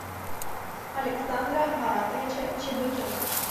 александра маратовича чебыкина